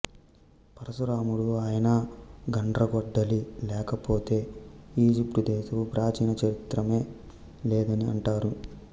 పరశురాముడు ఆయన గండ్రగొడ్డలి లేకపోతే ఈజిప్టుదేశపు ప్రాచీన చరిత్రయే లెదని అంటారు